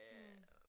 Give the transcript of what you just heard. Mh